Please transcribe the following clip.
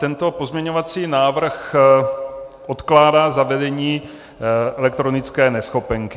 Tento pozměňovací návrh odkládá zavedení elektronické neschopenky.